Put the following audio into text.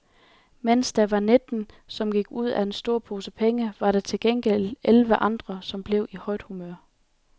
Mens der var nitten, som gik glip af en stor pose penge, var der til gengæld elleve andre, som blev i højt humør.